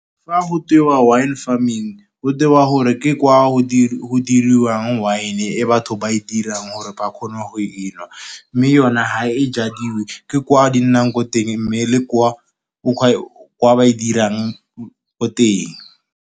Fa go tewa wine farming, go tewa gore ke kwa go diriwang wine e batho ba e dirang gore ba kgone go enwa. Mme yone ga e jwadiwe, ke kwa di nnang ko teng mme le kwa ba e dirang ko teng